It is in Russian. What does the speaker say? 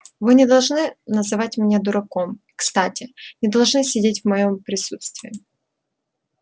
вы не должны называть меня дураком кстати не должны сидеть в моём присутствии